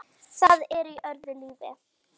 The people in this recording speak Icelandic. Það er í öðru lífi.